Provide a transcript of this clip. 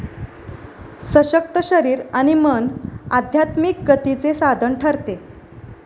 सशक्त शरीर आणि मन आध्यात्मिक गतीचे साधन ठरते.